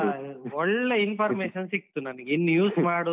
ಒಳ್ಳೆ. information ಸಿಗ್ತು ನನಿಗೆ ಎಲ್ಲಿ use ಮಾಡುದು.